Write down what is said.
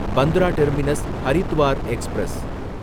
Bandra terminus Haridwar express